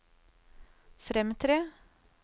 fremtre